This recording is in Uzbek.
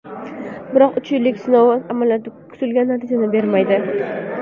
Biroq uch yillik sinov amaliyoti kutilgan natijani bermaydi.